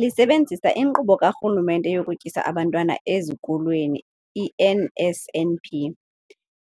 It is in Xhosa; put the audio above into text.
Lisebenzisa iNkqubo kaRhulumente yokuTyisa Abantwana Ezikolweni, i-NSNP,